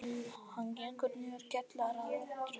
Hann gengur niður kjallaratröppurnar.